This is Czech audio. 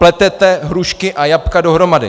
Pletete hrušky a jablka dohromady.